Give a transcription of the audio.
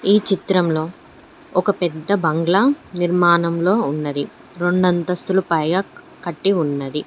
ఈ చిత్రంలో ఒక పెద్ద బంగ్లా నిర్మాణంలో ఉన్నది రొండంతస్తుల పైగా కట్టి ఉన్నది.